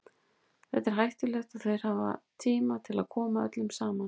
Þetta er hættulegt og þeir hafa tíma til að koma öllum fram.